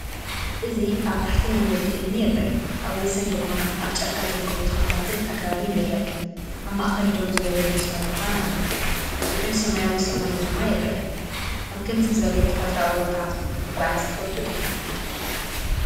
እዚ ኣብ ታሕቲ መንገዲ እምኒ ይርአ፣ ኣብ ወሰን ድማ ኣብ ጫካ ዝርከቡ ተኽልታትን ኣግራብን ይርአ። ኣብ ማእከል ደው ዝበለ መስመር ብርሃን ኣሎ፡ ልዑል ሰማያዊ ሰማይ ድማ ይርአ። ኣብ ከምዚ ዝበለ ተፈጥሮኣዊ ቦታ ምጉዓዝ ትፈቱ ዲኻ?